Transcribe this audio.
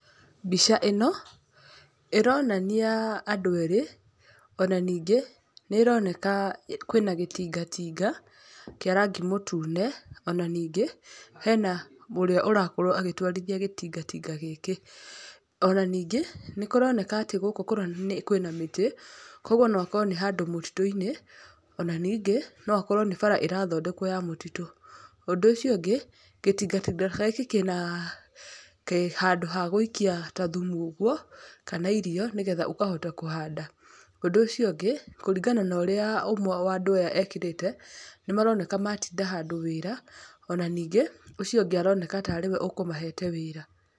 Mbica ĩno, ĩronania, andũ eerĩ, ona ningĩ, nĩĩroneka kwĩna gĩtingatinga, kĩa rangi mũtune, ona ningĩ, hena ũrĩa ũrakorwo akĩtwarithia gĩtingatinga gĩkĩ. Ona ningĩ, nĩ haroneka atĩ gũkũ kũronania kwĩna mĩtĩ, kũũguo nookorwo nĩ handũ mũtitũ-inĩ, ona ningĩ no akorwo ni bara ĩrathondekwo ya mũtitũ. Ũndũ ũcio ũngĩ, gĩtingatinga gĩkĩ kĩna, handũ ha gũikia ta thumu ũguo, kana irio nigetha ũkahota kũhanda. Ũndũ ũcio ũngĩ kũringana na ũrĩa ũmwe wa andũ aya ekirĩte, ni maroneka matinda handũ wĩra, ona ningĩ ũcio ũngĩ aroneka tarĩ we ũkũmahete wĩra.